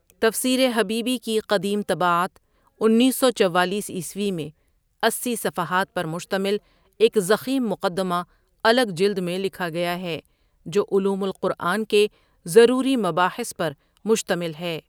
تفسیرحبیبی کی قدیم طباعت انیس سو چوالیس عیسوی میں اسی صفحات پرمشتمل ایک ضخیم مقدمہ الگ جلد میں لکھاگیاہے جوعلوم القرآن کے ضروری مباحث پرمشتمل ہے.